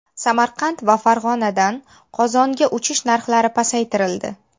Samarqand va Farg‘onadan Qozonga uchish narxlari pasaytirildi.